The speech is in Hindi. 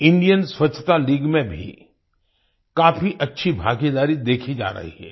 Indian स्वछता लीग में भी काफी अच्छी भागीदारी देखी जा रही है